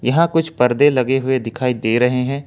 यहां कुछ परदे लगे हुए दिखाई दे रहे हैं।